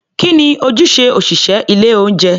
Kí ni ojúṣe òṣị̀ṣẹ́ ilé-oúnjẹ?